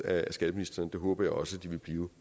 af skatteministeren det håber jeg også de vil blive